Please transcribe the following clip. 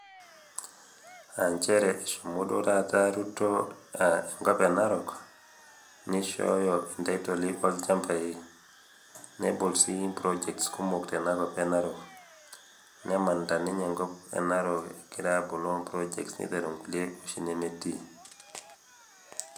Aa njere eshomo duo tata ruto enkop enarok nishoyo ntaitoli olchambai nebol sii projects kumok te narok nemanita ninye enkop enarok aboloo projects niteru nkulie oshi nemetii